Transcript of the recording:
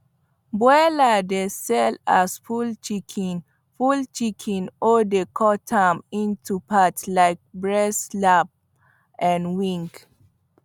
broiler dey sell as full chicken full chicken or dey cut am into part like breast lap and wing